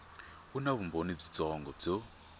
wu na vumbhoni byitsongo byo